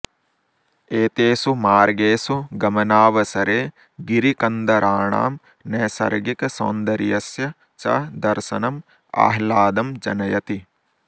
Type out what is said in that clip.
एतेषु मार्गेषु गमनावसरे गिरिकन्दराणां नैसर्गिकसौन्दर्यस्य च दर्शनम् आह्लादं जनयति